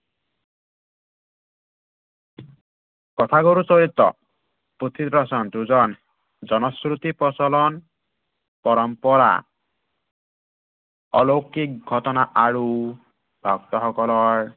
কথাগুৰু চৰিত পুথিৰ বচন, যুঁজন জনশ্ৰুতি প্ৰচলন পৰম্পৰা অলৌকিক ঘটনা আৰু, ভক্তসকলৰ